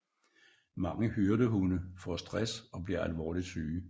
Mange hyrdehunde får stress og bliver alvorligt syge